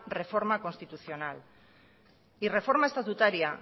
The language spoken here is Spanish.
reforma constitucional y reforma estatutaria